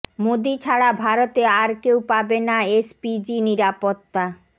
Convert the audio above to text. মোদি ছাড়া ভারতে আর কেউ পাবে না এসপিজি নিরাপত্তা